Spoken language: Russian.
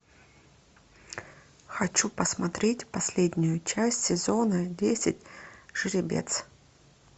хочу посмотреть последнюю часть сезона десять жеребец